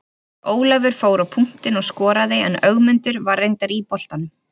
Ólafur fór á punktinn og skoraði en Ögmundur var reyndar í boltanum.